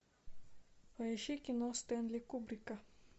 поищи кино стэнли кубрика